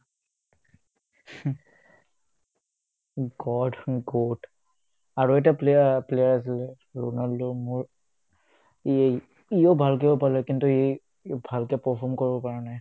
god নহয় GOAT আৰু এটা player haa player আছিলে ৰোনাল্ড' মোৰ ইয়ে ইয়ো ভালকেয়ো পালে কিন্তু ই ভালকে perform কৰিব পৰা নাই